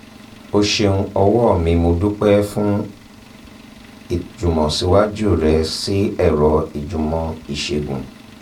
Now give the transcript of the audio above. o ṣeun ọ̀wọ́ mimo dúpẹ́ fún ìjùmọ̀síwájú rẹ sí ẹ̀rọ ìjùmọ̀ ìṣègùn